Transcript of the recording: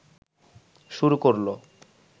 শুরু করলো